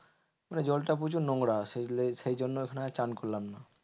মানে জলটা প্রচুর নোংরা সেই জন্য ওখানে চান করলাম না।